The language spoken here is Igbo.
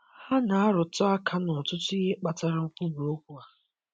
Ha na-arụtụ aka n'ọtụtụ ihe kpatara nkwubi okwu a.